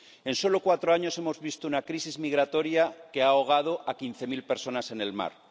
En solo cuatro años hemos visto una crisis migratoria que ha ahogado a quince mil personas en el mar